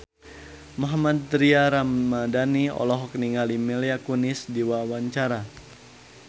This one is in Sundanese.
Mohammad Tria Ramadhani olohok ningali Mila Kunis keur diwawancara